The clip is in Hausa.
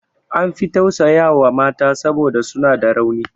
An fi tausaya wa mata saboda suna da rauni.